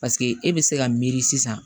Paseke e bɛ se ka miiri sisan